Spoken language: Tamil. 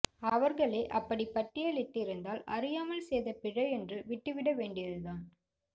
அவர்களே அப்படிப் பட்டியலிட்டிருந்தால் அறியாமல் செய்த பிழை என்று விட்டுவிட வேண்டியதுதான்